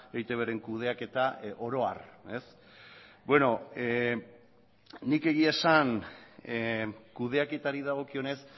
eitbren kudeaketa oro har beno ni egia esan kudeaketari dagokionez